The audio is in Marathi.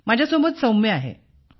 माझ्यासोबत सौम्या आहे